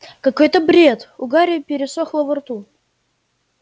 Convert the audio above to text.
какой-то бред у гарри пересохло во рту